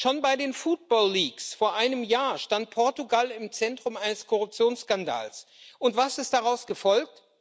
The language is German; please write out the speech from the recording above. Schon bei den Football Leaks vor einem Jahr stand Portugal im Zentrum eines Korruptionsskandals und was ist daraus gefolgt?